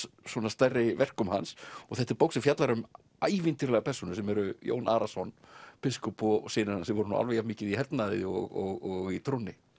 stærri verkum hans og þetta er bók sem fjallar um ævintýralegar persónur sem eru Jón Arason biskup og synir hans sem voru alveg jafn mikið í hernaði og í trúnni